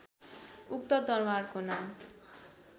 उक्त दरबारको नाम